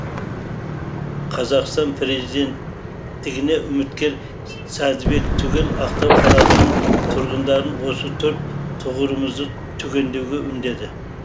қазақстан президенттігіне үміткер сәдібек түгел ақтау қаласының тұрғындарын осы төрт тұғырымызды түгендеуге үндеді